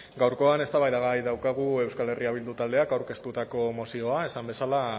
gaurkoan eztabaidagai daukagu euskal herria bildu taldeak aurkeztutako mozioa esan bezala